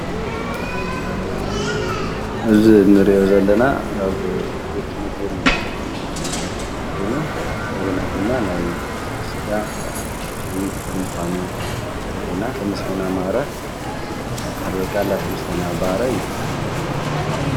እዚ እንሪኦ ዘለና ኣብ ቤቴ ምግብን መስተን ኾዮኑ እንደገና ድማ ናይ ከፍቲ ስጋ ዝሸይጥ ምካኑ የርእየና ። ተመስገን ኣማረ ድማ ይበሃል ወ ክዓ እንዳ ተመሦገን ኣማረ ይበሃል።